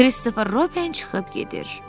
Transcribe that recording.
Kristofer Robin çıxıb gedir.